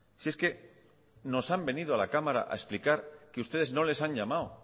si es que nos han venido a la cámara a explicar que ustedes no les han llamado